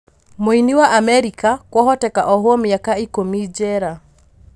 Mũini wa Amerika kwahoteka ohwo mĩaka ikũmi Njera.